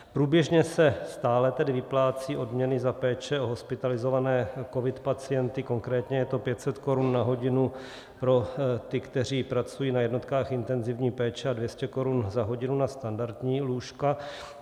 Průběžně se stále tedy vyplácejí odměny za péče o hospitalizované covid pacienty, konkrétně je to 500 korun na hodinu pro ty, kteří pracují na jednotkách intenzivní péče, a 200 korun za hodinu na standardní lůžka.